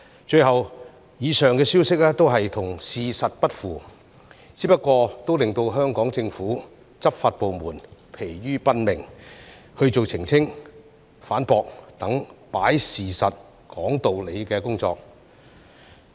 最後，以上消息都與事實不符，不過仍然令香港政府、執法部門疲於奔命去做澄清、反駁等"擺事實，講道理"的工作。